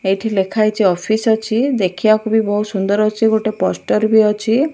ଏଇଠି ଲେଖା ହେଇଚି ଅଫିସ୍ ଅଛି ଦେଖିବାକୁ ବି ବହୁତ୍ ସୁନ୍ଦର ଅଛି ଗୋଟେ ପୋଷ୍ଟର ବି ଅଛି।